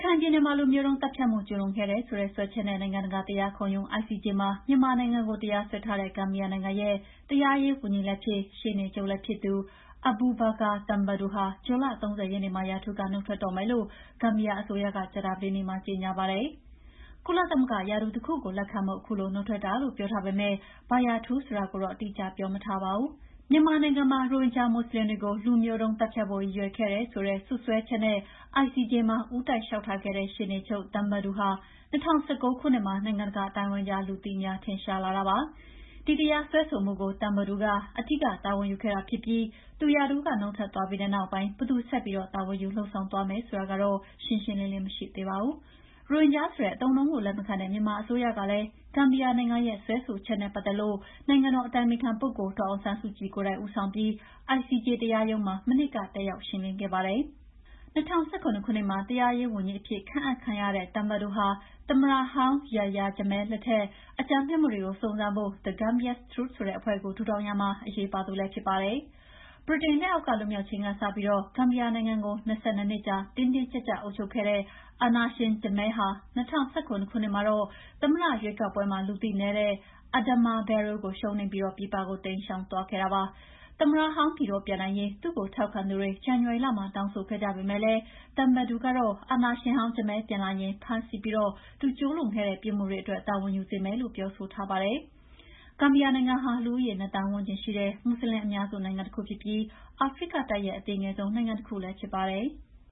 ိုင်ပြည်နယ်မှာ လူမျိုးတုံး သတ်ဖြတ်မှု ကျူးလွန်ခဲ့တယ်ဆိုတဲ့ စွဲချက်နဲ့ နိုင်ငံတကာ တရားခုံရုံး ICJ မှာ မြန်မာနိုင်ငံကို တရားစွဲထားတဲ့ ဂမ်ဘီယာနိုင်ငံရဲ့ တရားရေးဝန်ကြီးလည်းဖြစ်၊ ရှေ့နေချုပ်လည်းဖြစ်သူ Abubacarr Tambadou ဟာ ဇွန်လ ၃၀ ရက်နေ့မှာ ရာထူးက နုတ်ထွက်တော့မယ်လို့ ဂမ်ဘီယာအစိုးရက ကြာသပတေးနေ့မှာ ကြေငြာပါတယ်။ ကုလသမဂ္ဂရာထူး တခုကို လက်ခံဖို့ အခုလိုနုတ်ထွက်တာလို့ ပြောထားပေမဲ့ ဘာရာထူးဆိုတာကိုတော့ အတိအကျ ပြောမထားပါဘူး။ မြန်မာနိုင်ငံမှာ ရိုဟင်ဂျာမွတ်ဆလင်တွေကို လူမျိုးတုံးသတ်ဖြတ်ဖို့ ရည်ရွယ်ခဲ့တယ်ဆိုတဲ့စွပ်စွဲချက်နဲ့ အပြည်ပြည်ဆိုင်ရာတရားရုံး ICJ မှာ ဦးတိုက်လေ ျှာက်ထားခဲ့တဲ့ ရှေ့နေချုပ် Tambadou ဟာ ၂၀၁၉ ခုနှစ်မှာ နိုင်ငံတကာအသိုင်းအဝိုင်းကြား လူသိများ ထင်ရှားလာတာဖြစ်ပါတယ်။ ဒီတရားစွဲဆိုမှုကို Tambadou က အဓိက တာဝန်ယူခဲ့တာဖြစ်ပြီး သူ ရာထူးက နုတ်ထွက်သွားပြီးတဲ့နောက်ပိုင်း ဘယ်သူကဆက်ပြီး တာဝန်ယူ လုပ်ဆောင်သွားမယ်ဆိုတာတော့ ရှင်းရှင်းလင်းလင်း မသိရသေးပါဘူ။ ရိုဟင်ဂျာဆိုတဲ့ အသုံးအနှုန်းကို လက်မခံတဲ့ မြန်မာအစိုးရကလည်း ဂမ်ဘီယာနိုင်ငံရဲ့ စွဲဆိုချက်နဲ့ ပတ်သက်လို့ နိုင်ငံတော်အတိုင်ပင်ခံပုဂ္ဂိုလ် ဒေါ်အောင်ဆန်းစုကြည်ကိုယ်တိုင် ဦးဆောင်ပြီး ICJ တရားရုံးမှာ မနှစ်က တက်ရောက် ရှင်းလင်းခဲ့ပါတယ်။ ၂၀၁၇ ခုနှစ်မှာ တရားရေးဝန်ကြီးအဖြစ်ခန့်အပ်ခံရတဲ့ Tambadou ဟာ သမ္မတဟောင်း Yahya Jammeh လက်ထက် အကြမ်းဖက်မှုတွေကို စုံစမ်းဖို့ The Gambia’s Truth ဆိုတဲ့အဖွဲ့ကို ထူထောင်ရာမှာ အရေးပါသူလည်းဖြစ်ပါတယ်။ ဗြိတိန်လက်အောက်က လွတ်မြောက်ချိန်ကစပြီး ဂမ်ဘီယာနိုင်ငံကို ၂၂ နှစ်ကြာ တင်းတင်းကြပ်ကြပ်အုပ်ချုပ်ခဲ့တဲ့ အာဏာရှင် Jammeh က၂၀၁၇ ခုနှစ်သမ္မတရွေးကောက်ပွဲမှာ လူသိနည်းတဲ့ Adama Barrow ကို ရှုံးနိမ့်ပြီး ပြည်ပကို တိမ်းရှောင်သွားခဲ့တာပါ။ သမ္မတဟောင်း ပြည်တော်ပြန်နိုင်ရေး သူ့ကိုထောက်ခံသူတွေ ဇန်နဝါရီလမှာ တောင်းဆိုခဲ့ကြပေမဲ့ Tambadou ကတော့ အာဏာရှင်ဟောင်း Jammeh ပြန်လာရင် ဖမ်းဆီးပြီး သူကျူးလွန်ခဲ့တဲ့ပြစ်မှုတွေအတွက် တာဝန်ယူစေမယ်လို့ ပြောဆိုထားပါတယ်။ ဂမ်ဘီယာနိုင်ငံဟာ လူဦးရေ ၂,၀၀၀,၀၀၀ ဝန်းကျင်ရှိတဲ့ မွတ်ဆလင်အများစုနိုင်ငံ တခုဖြစ်ပြီး အာဖရိကတိုက်ရဲ့ အသေးငယ်ဆုံးနိုင်ငံ တခုလည်းဖြစ်ပါတယ်။